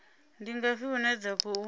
ndi ngafhi hune dza khou